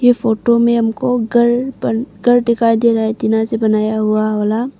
इस फोटो में हमको घर बन घर दिखाई दे रहा है टीना से बनाया हुआ वाला।